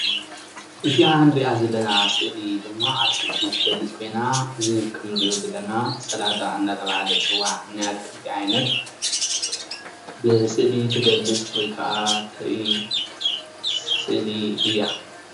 እዚኣ እንሪኣ ዘለና ሰእሊ ድማ ኣትክልቲ ትገልጽ ኮይና እዚ እንሪኦ ዘላና ስላጣ እናተበሃለ ዝጽዋዕ ናይ ኣትክልቲ ዓይነት ብሰእሊ ትገልጽ ወይ ከዓ ተርኢ ሰእሊ እያ።